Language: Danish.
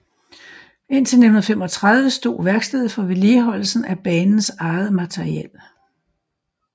Indtil 1935 stod værkstedet for vedligeholdelsen af banens eget materiel